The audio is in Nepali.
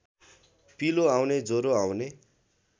पिलो आउने ज्वरो आउने